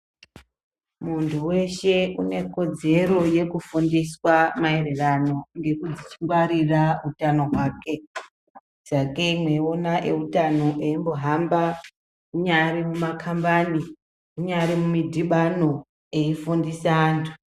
Muntu weshe unekodzero yekufundiswa mairirano nekungwarira utano hwake sakei mweiona ewutano eimbohamba kunyari mumakambani kunyari mumidhibano aifundise antu.